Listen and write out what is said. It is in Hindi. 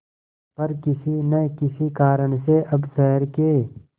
पर किसी न किसी कारण से अब शहर के